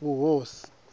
vhuhosi